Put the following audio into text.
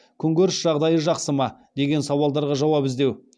күнкөріс жағдайы жақсы ма деген сауалдарға жауап іздеу